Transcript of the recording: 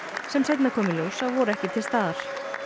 sem seinna kom í ljós að voru ekki til staðar